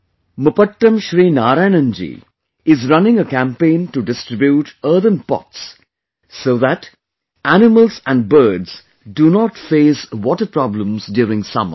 Mupattam Sri Narayanan ji is running a campaign to distribute earthen pots so that animals and birds do not face water problems during summer